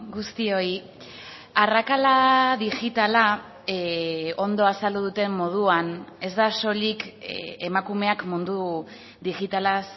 guztioi arrakala digitala ondo azaldu duten moduan ez da soilik emakumeak mundu digitalaz